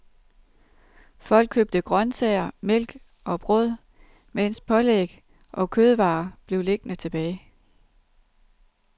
Folk købte grøntsager, mælk og brød mens pålæg og kødvarer blev liggende tilbage.